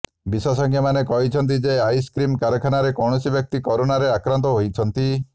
ବିଶେଷଜ୍ଞମାନେ କହିଛନ୍ତି ଯେ ଆଇସକ୍ରିମ କାରଖାନାରେ କୌଣସି ବ୍ୟକ୍ତି କରୋନାରେ ଆକ୍ରାନ୍ତ ହୋଇଛନ୍ତି